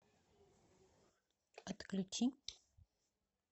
отключи